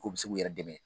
K'u bɛ se k'u yɛrɛ dɛmɛ